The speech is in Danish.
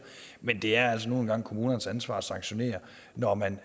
men det er altså nu engang kommunernes ansvar at sanktionere når man